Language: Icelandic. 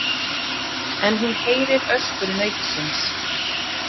En hún heyrir öskur nautsins.